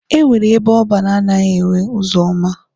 E nwere ebe ọban na-anaghi enwe ụzọ ọma.